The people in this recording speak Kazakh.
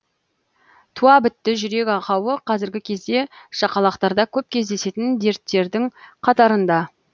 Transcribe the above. туа бітті жүрек ақауы қазіргі кезде шақалақтарда көп кездесетін дерттердің қатарында